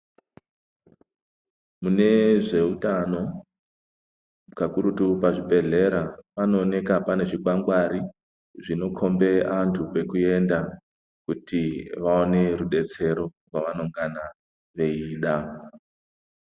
Mune zveutano kakurutu pazvibhebhedhlera panooneka pane zvikwangwari zvinokombe antu kwekuenda kuti vaone rudetsero kwavanongana veida.